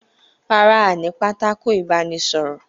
Rárá, ní pátákó ìbánísọ̀rọ̀